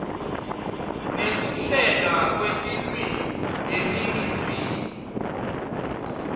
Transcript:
nekuhlelwa kwetilwimi yeningizimu